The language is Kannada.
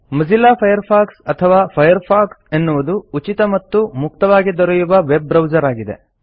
ಮೊಜಿಲ್ಲಾ ಫೈರ್ಫಾಕ್ಸ್ ಅಥವಾ ಫೈರ್ಫಾಕ್ಸ್ ಎನ್ನುವುದು ಉಚಿತ ಮತ್ತು ಮುಕ್ತವಾಗಿ ದೊರಕುವ ವೆಬ್ ಬ್ರೌಸರ್ ಆಗಿದೆ